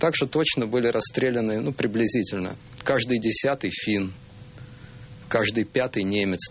так что точно были расстреляны ну приблизительно каждый десятый финн каждый пятый немец